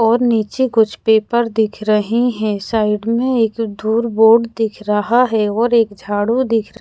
और नीचे कुछ पेपर दिख रहे है साइड में एक ढूर बोर्ड दिख रहा है और एक झाड़ू दिख र--